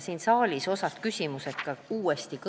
Siin saalis kõlas osa küsimusi uuesti.